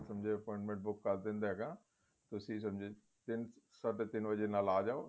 ਤੁਸੀਂ ਸਮਝੇ appointment book ਕਰ ਦਿੰਦਾ ਹੈਗਾ ਤੁਸੀਂ ਸਮਝੇ ਤਿੰਨ ਸਾਢ਼ੇ ਤਿੰਨ ਵਜੇ ਨਾਲ ਆਂ ਜਾਵੋ